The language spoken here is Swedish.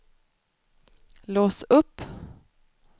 lås upp